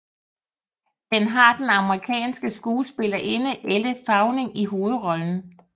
Den har den amerikanske skuespillerinde Elle Fanning i hovedrollen